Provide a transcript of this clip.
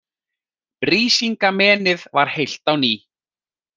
Brísingamenið var heilt á ný.